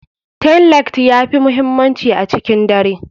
Tailight ya fi muhimmanci a cikin dare.